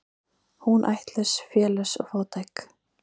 Hún ættlaus, félaus og fátæk.